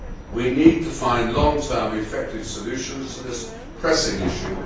We need to find long term effective solutions to this pressing issue.